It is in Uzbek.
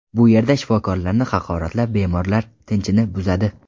Bu yerda shifokorlarni haqoratlab, bemorlar tinchini buzadi.